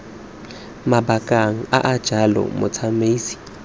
mabakeng a a jalo motsamaisi